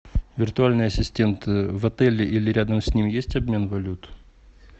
виртуальный ассистент в отеле или рядом с ним есть обмен валют